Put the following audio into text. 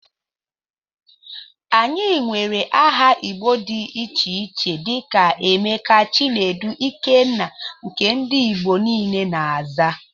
Anyị nwere áhà igbo dị iche iche dika; Emeka, Chinedu, Ikenna, nke ndị ìgbo niile na -aza.